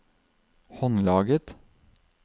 håndlaget